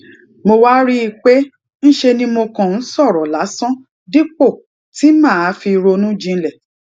mo wá rí i pé ńṣe ni mo kàn ń sòrò lásán dípò tí màá fi ronú jinlè